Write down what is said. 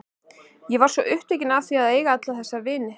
Ég varð svo upptekin af því að eiga alla þessa vini.